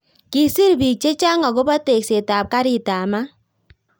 kisir biik chechang akobo tekset ab karit ab maat